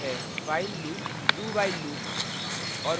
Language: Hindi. while loop do… while loop और